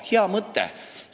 Hea mõte!